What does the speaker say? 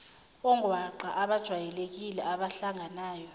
ongwaqa abajwayelekile abahlanganayo